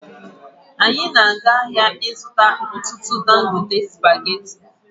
Anyị na-aga ahịa ịzụta ọtụtụ dangote spageti